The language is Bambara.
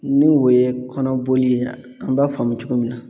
Ni o ye kɔnɔboli ye an b'a faamu cogo min na